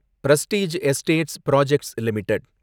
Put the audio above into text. Prestige Estates Projects limited